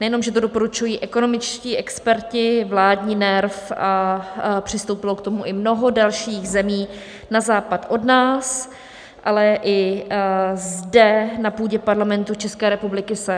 Nejenom že to doporučují ekonomičtí experti, vládní NERV a přistoupilo k tomu i mnoho dalších zemí na západ od nás, ale i zde na půdě Parlamentu České republiky se...